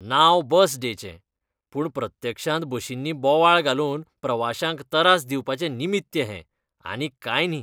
नांव बस डेचें, पूण प्रत्यक्षांत बशींनी बोवाळ घालून प्रवाश्यांक तरास दिवपाचें निमित्य हें, आनीक कांय न्ही.